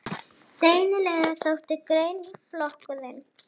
Sennilega þótti greinaflokkurinn